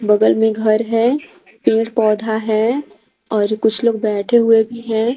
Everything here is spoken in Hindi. बगल में घर है पेड़ पौधा है और कुछ लोग बैठे हुए भी हैं।